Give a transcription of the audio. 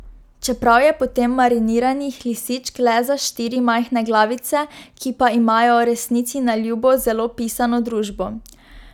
Čeprav je potem mariniranih lisičk le za štiri majhne glavice, ki pa imajo, resnici na ljubo, zelo pisano družbo.